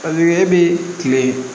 Ka kɛɲɛ bi kile